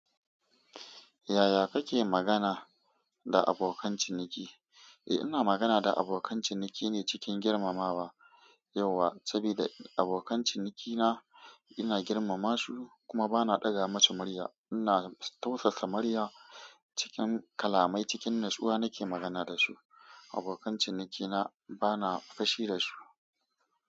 Yaya kake magana da abokan ciniki? Eh, ina magana da abokan ciniki ne cikin girmamawa. Yauwa, sabida abokan cinikina ina girmama su kuma bana ɗaga musu murya. Ina tausasa murya cikin kalamai cikin natsuwa nake magana da su. Abokan cinikina bana fashi da su.